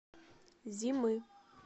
зимы